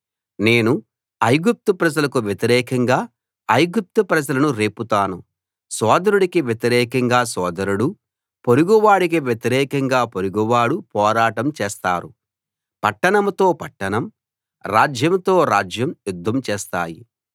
నేను ఐగుప్తు ప్రజలకు వ్యతిరేకంగా ఐగుప్తు ప్రజలను రేపుతాను సోదరుడికి వ్యతిరేకంగా సోదరుడూ పొరుగువాడికి వ్యతిరేకంగా పొరుగువాడూ పోరాటం చేస్తారు పట్టణంతో పట్టణం రాజ్యంతో రాజ్యం యుద్ధం చేస్తాయి